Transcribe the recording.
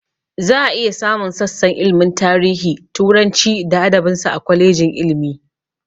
Za a iya samun sassan ilmin tarihi, turanci da adabin sa, a kwalejin ilmi